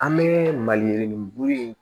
An bɛ maliyirinin bulu in